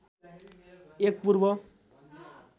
एक पूर्व